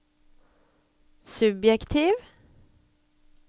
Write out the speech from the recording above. subjektiv